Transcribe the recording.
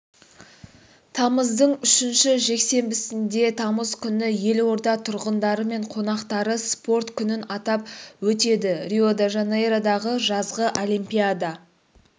тамыздың үшінші жексенбісінде тамыз күні елорда тұрғындары мен қонақтары спорт күнін атап өтеді рио-де-жанейродағы жазғы олимпиада